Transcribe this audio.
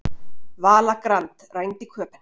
Vala Grand rænd í Köben